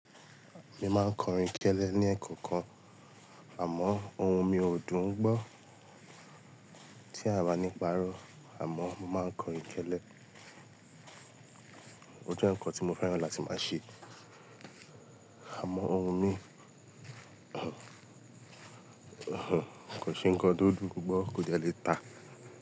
Mi máa ń kọrin kẹ́lẹ́ ní ẹ̀kọ̀ọ̀kan, àmọ́ o hun mi ò dùn gbọ́, tí a bá ní pàrọ̀, àmọ́ mo máa ń kọrin kẹ́lẹ́. O jẹ́ ǹkan tí mo fẹ́ràn láti máa ṣe. Àmọ́ ohun mi kò ṣe ǹkan tó dùn gbó kóde lè ta.